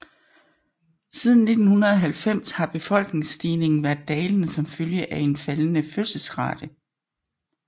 Siden 1990 har befolkningsstigningen været dalende som følge af en faldende fødselsrate